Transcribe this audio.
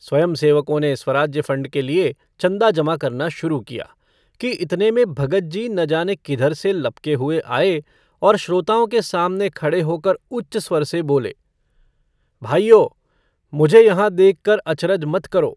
स्वयंसेवकों ने स्वराज्य फंड के लिए चन्दा जमा करना शुरू किया कि इतने में भगतजी न जाने किधर से लपके हुए आये और श्रोताओं के सामने खड़े होकर उच्च स्वर से बोले - भाइयो मुझे यहाँ देखकर अचरज मत करो।